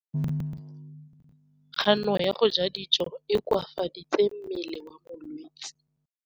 Kganô ya go ja dijo e koafaditse mmele wa molwetse.